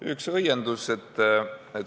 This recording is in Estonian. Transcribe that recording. Üks õiendus.